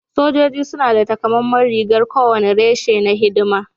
Sojoji suna da takamaiman rigar kowane reshe na hidima